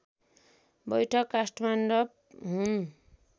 बैठक काष्ठमण्डप हुन्